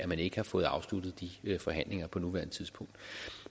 man ikke har fået afsluttet de forhandlinger på nuværende tidspunkt